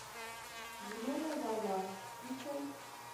зеленая волна включай